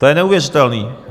To je neuvěřitelné.